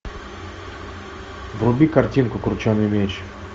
вруби картинку крученый мяч